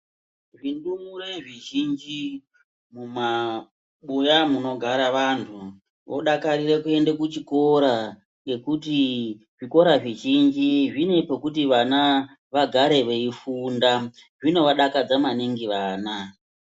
Zvindumure zvizhinji mumabuya antu vodakarire kuenda kuchikora ngekuti zvikora zvvizhinji zvine pekuti vagare veifunda. Zvinovadakadza maningi vana.